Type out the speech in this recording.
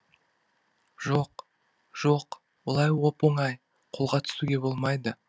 жоқ жоқ олай оп оңай қолға түсуге болмайды